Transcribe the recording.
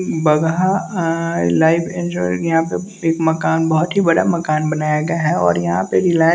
Bagaha a life enjoy यहाँ पे एक मकान बहुत ही बड़ा मकान बनाया गया है और यहाँ पे रिलायं--